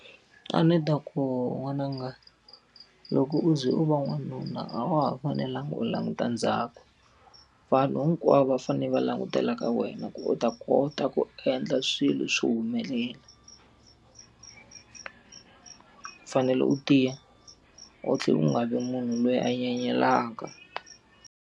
A ni ta ku n'wananga, loko u ze u va n'wanuna a wa ha fanelanga u languta ndzhaku. Vanhu hinkwavo va fanele va langutela ka wena ku u ta kona u ta ku endla swilo swi humelela. U fanele u tiya, u tlhela u nga vi munhu loyi a nyenyelaka.